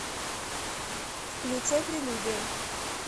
включай прелюдия